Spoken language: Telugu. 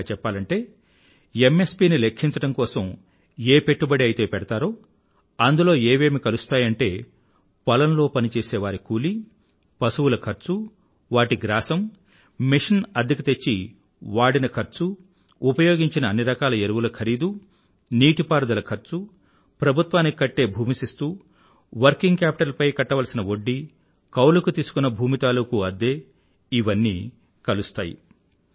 వివరంగా చెప్పాలంటే ఎంఎస్పీ ని లెఖ్ఖించడం కోసం ఏ పెట్టుబడి అయితే పెడతారో అందులో ఏవేమి కలుస్తాయంటే పొలంలో పనిచేసేవారి కూలీ పశువుల ఖర్చు వాటి గ్రాసం మషీన్ అద్దెకు తెచ్చిన వాటి ఖర్చు ఉపయోగించిన అన్నిరకాల ఎరువుల ఖరీదు నీటి పారుదల ఖర్చు ప్రభుత్వానికి కట్టే భూమి శిస్తు వర్కింగ్ క్యాపిటల్ పై కట్టవలసిన వడ్డీ కౌలుకు తోసుకున్న భూమి తాలూకూ అద్దె మొదలైనవన్నీ కలుస్తాయి